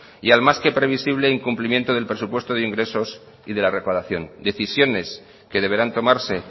y al más que previsible incumplimiento del presupuesto de ingresos y de la recaudación decisiones que deberán tomarse